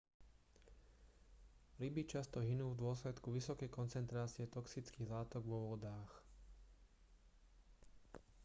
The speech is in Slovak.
ryby často hynú v dôsledku vysokej koncentrácie toxických látok vo vodách